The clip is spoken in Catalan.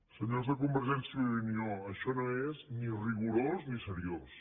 senyors de convergència i unió això no és ni rigorós ni seriós